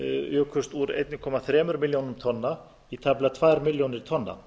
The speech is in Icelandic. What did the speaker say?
jukust úr einum komma þremur milljónum tonna í tæplega tvær milljónir tonna